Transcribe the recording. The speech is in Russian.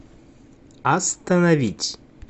остановить